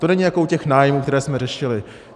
To není jako u těch nájmů, které jsme řešili.